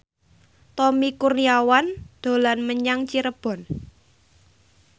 Tommy Kurniawan dolan menyang Cirebon